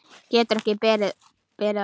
Getur ekki betri orðið.